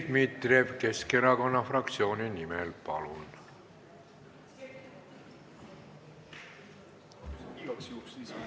Dmitri Dmitrijev Keskerakonna fraktsiooni nimel, palun!